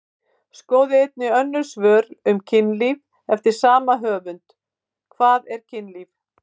Skoðið einnig önnur svör um kynlíf eftir sama höfund: Hvað er kynlíf?